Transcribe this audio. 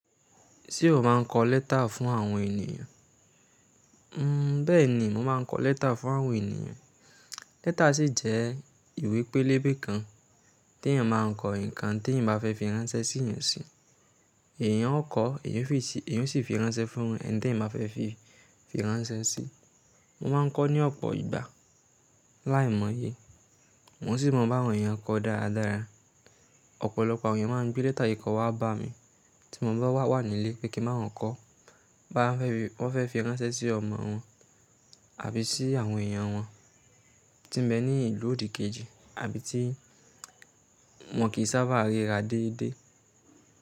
Ṣé o máa ń kọ lẹ́tà fún àwọn ènìyàn? Bẹ́ẹ̀ni, mo máa ń kọ lẹ́tà fún àwọn ènìyàn. Lẹ́tà sì jẹ́ ìwé pélébé kan tí èèyàn máa ń kọ nǹkan tí èèyàn bá fẹ́ fi ránṣẹ́ sí èèyàn sí. Èèyàn ó kọ ọ́, èèyàn ó sì fi ránṣẹ́ fún ẹni tí èèyàn bá fẹ́ fi ránṣẹ́ sí. Mo máa ń kọ ọ́ ní ọ̀pọ̀ ìgbà láìmọye. Ǹ ó sì mọ bá àwọn èèyàn kọ ọ́ dáradára. Ọ̀pọ̀lọpọ̀ àwọn èèyàn máa ń gbé lẹ́tà kíkọ wá bá mi tí mo bá wá wà nílé pé kí n bá àwọn kọ́ bóyá wọ́n fẹ́ fi ránṣẹ́ sí ọmọ wọn àbí sí àwọn èèyàn wọn tí ń bẹ ní ìlú òdìkejì àbí tí wọn kì í sábà ríra déédé.